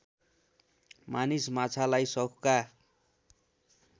मानिस माछालाई सौखका